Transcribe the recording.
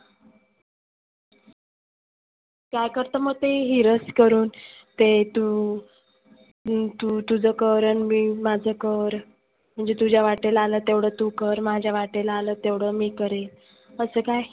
काय करत मग ते हिरस करुण ते तु, तु तुझ कर आन मी माझ कर. म्हणजे तुझा वाट्याला आलं तेव्हढ तु कर माझ्या वाट्याला आल तेव्हढ मी करेन. असं काय